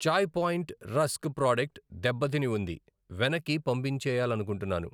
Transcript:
చాయి Point rusk product దెబ్బ తిని ఉంది, వెనక్కి పంపించేయాలనుకుంటున్నాను.